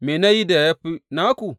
Me na yi da ya fi naku?